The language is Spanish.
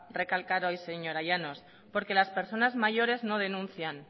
recalcar hoy señora llanos porque las personas mayores no denuncian